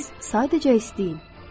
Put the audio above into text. Siz sadəcə istəyin.